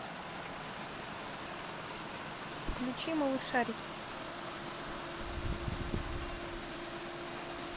включи малышарики